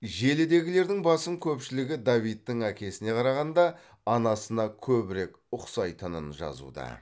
желідегілердің басым көпшілігі давидтың әкесіне қарағанда анасына көбірек ұқсайтынын жазуда